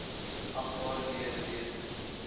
agbare lede weet